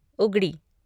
Ugadi